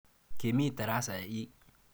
Kemi tarasa ii?